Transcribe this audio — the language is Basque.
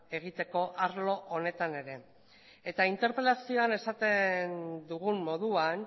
egiteko arlo honetan ere eta interpelazioan esaten dugun moduan